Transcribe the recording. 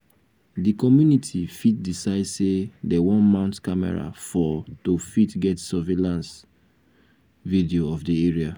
di community fit decide sey dem wan mount camera for to fit get survaillance video of di area